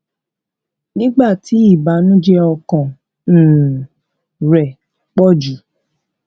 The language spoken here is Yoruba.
nígbà tí ìbànújẹ ọkàn um rẹ pọ jù